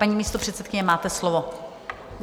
Paní místopředsedkyně, máte slovo.